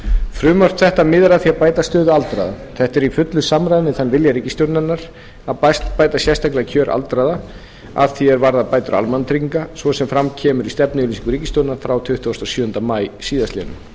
frumvarp þetta miðar að því að bæta stöðu aldraða þetta er í fullu samræmi við þann vilja ríkisstjórnarinnar að bæta sérstaklega kjör aldraðra að því er varðar bætur almannatrygginga svo sem fram kemur í stefnuyfirlýsingu ríkisstjórnarinnar frá tuttugasta og sjöunda maí síðastliðnum